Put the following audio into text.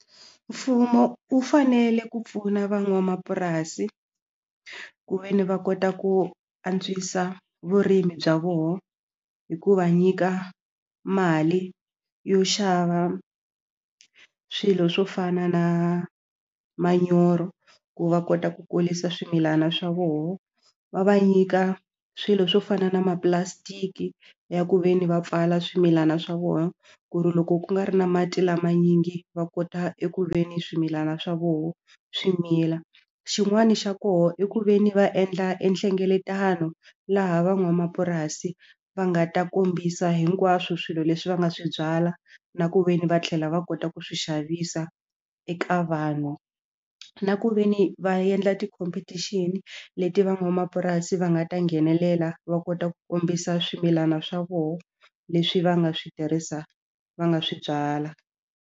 Mfumo wu fanele ku pfuna van'wamapurasi ku ve ni va kota ku antswisa vurimi bya vona hi ku va nyika mali yo xava swilo swo fana na manyoro ku va kota ku kulisa swimilana swa vona va va nyika swilo swo fana na mapulasitiki ya ku ve ni va pfala swimilana swa vona ku ri loko ku nga ri na mati lama manyingi va kota eku ve ni swimilana swa vona swi mila xin'wana xa kona i ku ve ni va endla e nhlengeletano laha van'wamapurasi va nga ta kombisa hinkwaswo swilo leswi va nga swi byala na ku ve ni va tlhela va kota ku swi xavisa eka vanhu na ku ve ni va endla ti-competition leti van'wamapurasi va nga ta nghenelela va kota ku kombisa swimilana swa vona leswi va nga swi tirhisa va nga swi byala.